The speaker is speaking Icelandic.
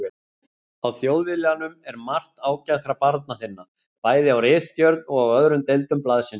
Á Þjóðviljanum er margt ágætra barna þinna, bæði á ritstjórn og á öðrum deildum blaðsins.